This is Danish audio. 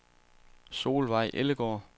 Solveig Ellegaard